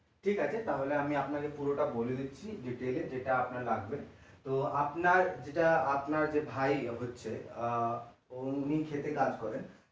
ঠিক আছে তাহলে আমি আপনাকে পুরোটা বলে দিচ্ছি detail এ যেটা আপনার লাগবে তো আপনার যেটা আপনার যে ভাই হচ্ছে আহ উনি ক্ষেতে কাজ করেন